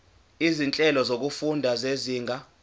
izinhlelo zokufunda zezinga